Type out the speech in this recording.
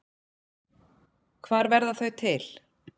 Hvar verða þau til?